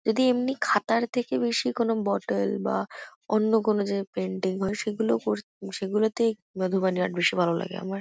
যদি এমনি খাতার থেকে বেশি কোনো বটেল বা অন্য কোনো যে পেন্টিং হয় সেগুলো কর সেগুলোতে মধুবনী আর্ট বেশি ভালো লাগে আমার ।